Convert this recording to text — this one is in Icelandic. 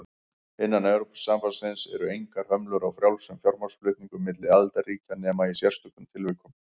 Innan Evrópusambandsins eru engar hömlur á frjálsum fjármagnsflutningum milli aðildarríkja nema í sérstökum tilvikum.